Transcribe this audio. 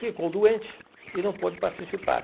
Ficou doente e não pôde participar.